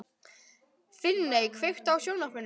Finney, kveiktu á sjónvarpinu.